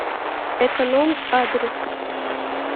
эконом адрес